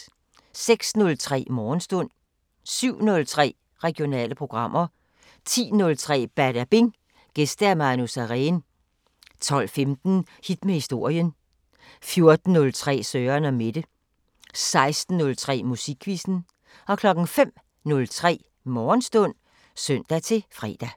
06:03: Morgenstund 07:03: Regionale programmer 10:03: Badabing: Gæst Manu Sareen 12:15: Hit med historien 14:03: Søren & Mette 16:03: Musikquizzen 05:03: Morgenstund (søn-fre)